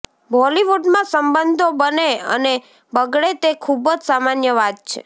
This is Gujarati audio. બોલિવૂડમાં સંબંધો બને અને બગડે તે ખુબજ સામાન્ય વાત છે